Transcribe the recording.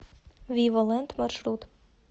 вива лэнд маршрут